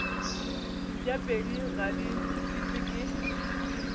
mpšapedi ga di šitwe ke